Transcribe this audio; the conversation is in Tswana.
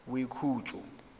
boikhutso